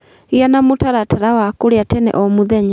Gĩa na mũtaratara wa kũrĩa tene o mũthenya